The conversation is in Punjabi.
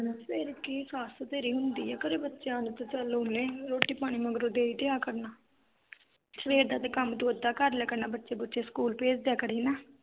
ਫਿਰ ਕੀ ਆ ਸੱਸ ਤੇ ਤੇਰੀ ਹੁੰਦੀ ਆ ਘਰੇ, ਬੱਚਿਆਂ ਨੂੰ ਤੇ ਚਲ ਓਹਨੇ ਰੋਟੀ ਪਾਣੀ ਮਗਰੋਂ ਦੇ ਈ ਦਿਆਂ ਕਰਨਾ ਸਵੇਰ ਦਾ ਤੇ ਕੰਮ ਤੂੰ ਅੱਧਾ ਕਰ ਲਿਆ ਕਰਨਾ, ਬੱਚੇ-ਬੁੱਚੇ ਸਕੂਲ ਭੇਜ ਦਿਆਂ ਕਰੀ ਨਾ